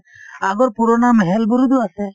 আগৰ পুৰণা মেহেল বোৰো টো আছে